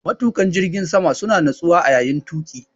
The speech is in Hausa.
Matuƙan jirgin sama suna natsuwa a yayin tuƙi.